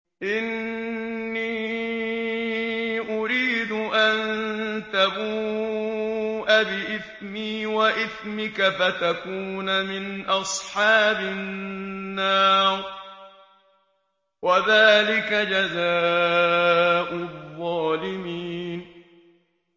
إِنِّي أُرِيدُ أَن تَبُوءَ بِإِثْمِي وَإِثْمِكَ فَتَكُونَ مِنْ أَصْحَابِ النَّارِ ۚ وَذَٰلِكَ جَزَاءُ الظَّالِمِينَ